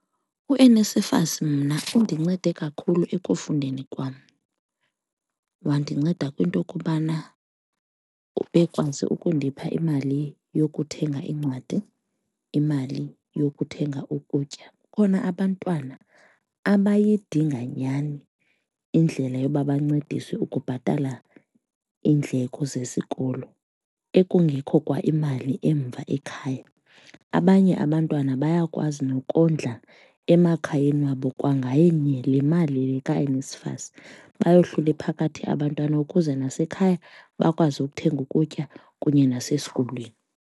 UNSFAS mna undincede kakhulu ekufundeni kwam wandinceda kwinto kubana ubekwazi ukundipha imali yokuthenga iincwadi, imali yokuthenga ukutya. Kukhona abantwana abayidinga nyhani indlela yoba bancediswe ukubhatala iindleko zesikolo ekungekho kwaimali emva ekhaya. Abanye abantwana bayakwazi nokondla emakhayeni wabo kwangayo yona le mali kaNSFAS, bayohlule phakathi abantwana ukuze nasekhaya bakwazi ukuthenga ukutya kunye nasesikolweni.